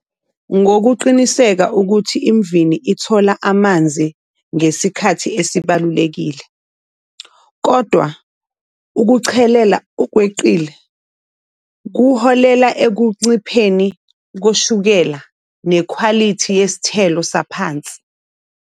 Ngokuqiniseka ukuthi imvini ithola amanzi ngesikhathi esibalulekile, kodwa ukuchelela okweqile kuholela ekuncipheni koshukela nekhwalithi yesithelo saphansi.